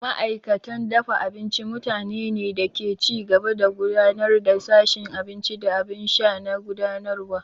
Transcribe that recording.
Ma'aikatan dafa abinci mutanene ne da ke ci gaba da gudanar da sashin abinci da abin sha na gudanarwa.